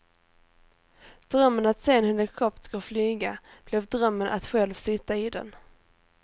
Drömmen att se en helikopter flyga blev drömmen att själv sitta i den.